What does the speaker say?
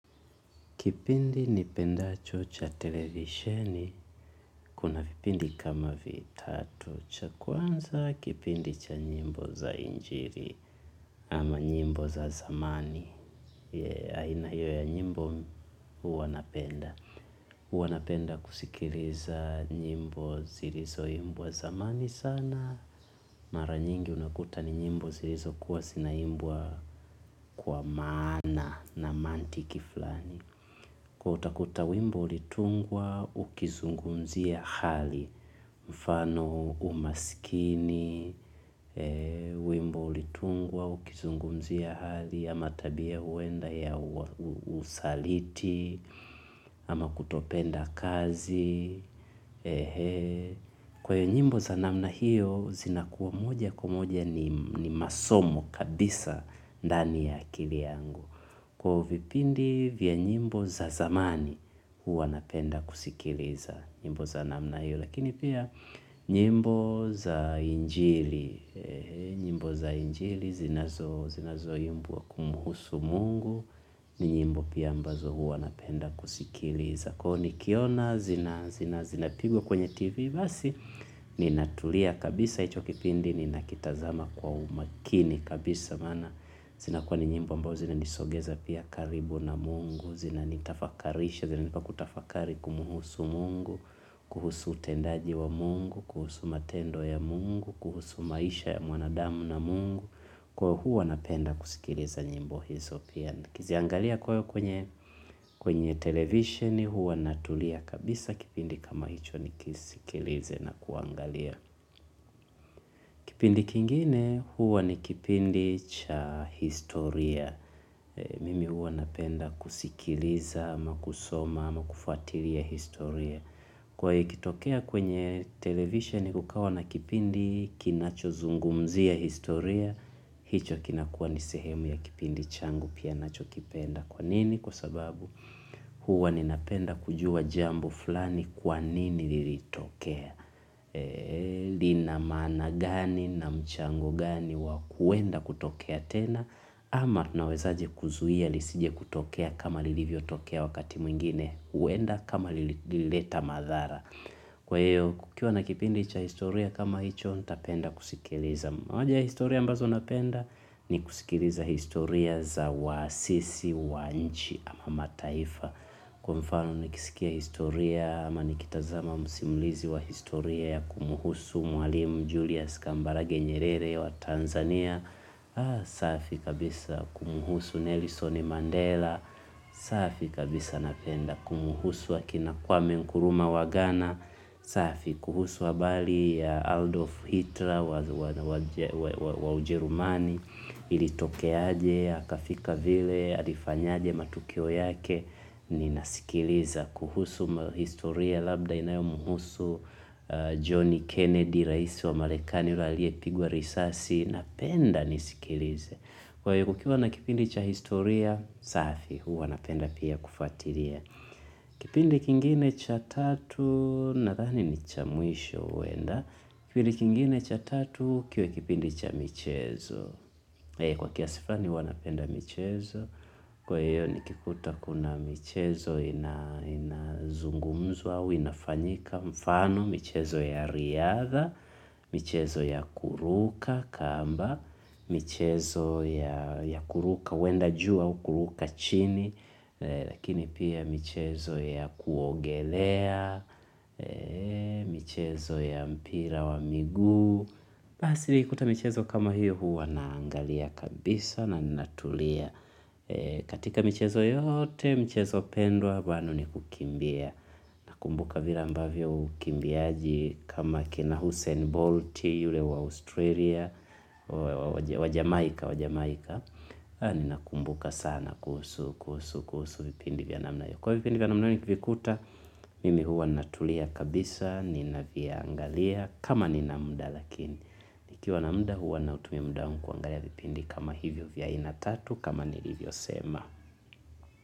Kipindi nipendacho cha televisheni, kuna vipindi kama vitatu. Cha kwanza kipindi cha nyimbo za injili ama nyimbo za zamani aina hiyo ya nyimbo huwa napenda. Huwa napenda kusikiliza nyimbo zilizoimbwa zamani sana. Mara nyingi unakuta ni nyimbo zilizokuwa zinaimbwa kwa maana na maantiki flani. Kwaivo utakuta wimbo ulitungwa, ukizungumzia hali, mfano umaskini, wimbo ulitungwa, ukizungumzia hali, ama tabia huenda ya usaliti, ama kutopenda kazi. Kwaiyo nyimbo za namna hiyo, zinakuwa moja kwa moja ni masomo kabisa ndani ya akili yangu. Kwaivo vipindi vya nyimbo za zamani huwa napenda kusikiliza, nyimbo za namna hiyo, lakini pia nyimbo za injili, nyimbo za injili zinazoimbwa kumhusu mungu, ni nyimbo pia ambazo huwa napenda kusikiliza. Kwaivo nikiona, zinapigwa kwenye tv basi, ninatulia kabisa hicho kipindi, ninakitazama kwa umakini kabisa maana, zinakuwa ni nyimbo ambao zinanisogeza pia karibu na mungu, zinanitafakarisha, zinanipa kutafakari kumhusu mungu, kuhusu utendaji wa mungu kuhusu matendo ya mungu kuhusu maisha ya mwanadamu na mungu kwaivo huwa napenda kusikiliza nyimbo hizo pia. Nikiziangalia kwaivo kwenye television huwa natulia kabisa kipindi kama hicho nikisikilize na kuangalia kipindi kingine huwa ni kipindi cha historia mimi huwa napenda kusikiliza, ama kusoma, ama kufuatilia historia. Kwaivo ikitokea kwenye television kukawa na kipindi kinachozungumzia historia hicho kinakuwa ni sehemu ya kipindi changu pia nachokipenda kwa nini? Kwa sababu huwa ninapenda kujua jambo fulani kwa nini lilitokea lina maana gani na mchango gani wa kuenda kutokea tena ama tunawezaje kuzuia lisije kutokea kama lilivyotokea wakati mwingine huenda kama lilileta madhara kwa hiyo kukiwa na kipindi cha historia kama hicho ntapenda kusikiliza moja ya historia ambazo napenda ni kusikiliza historia za waasisi wa nchi ama mataifa kwa mfano nikiskia historia ama nikitazama msimulizi wa historia ya kumhusu mwalimu Julius kambarage nyerere wa tanzania safi kabisa kumhusu Nelson Mandela safi kabisa napenda kuhusu akina Kwame Nkrumah wa Ghana. Safi kuhusu habari ya Aldolf Hitler wa Ujerumani ilitokeaje akafika vile alifanyaje matukio yake. Ninasikiliza kuhusu mahistoria labda inayomhusu Johnny Kennedy, raisi wa Marekani ule aliyepigwa risasi, napenda nisikilize kwa hivyo kukiuwa na kipindi cha historia safi huwa napenda pia kufatilia kipindi kingine cha tatu nadhani ni cha mwisho huenda. Kipindi kingine cha tatu kiwe kipindi cha michezo. Kwa kiasi flani huwa napenda michezo. Kwa hiyo nikikuta kuna michezo inazungumzwa au inafanyika mfano michezo ya riadha, michezo ya kuruka kamba, michezo ya kuruka huenda juu au kuruka chini. Lakini pia michezo ya kuogelea michezo ya mpira wa miguu basi nikikuta michezo kama hiyo huwa naangalia kabisa na ninatulia katika michezo yote, michezo pendwa bado ni kukimbia nakumbuka vile ambavyo ukimbiaji kama kina Hussein Bolt yule wa Australia wa Jamaika wa jamaika, ninakumbuka sana kuhusu, kuhusu, kuhusu vipindi vya namna hiyo. Kwaivo vipindi vya namna hio nikivikuta, mimi huwa natulia kabisa, ninaviangalia kama nina mda lakini nikiwa na mda huwa nautumia muda wangu kuangalia vipindi kama hivyo vya aina tatu, kama nilivyosema.